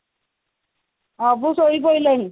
ଅବୁ ଶୋଇ ପଡିଲାଣି